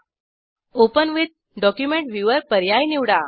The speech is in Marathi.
ओपन विथ डॉक्युमेंट व्ह्यूवर पर्याय निवडा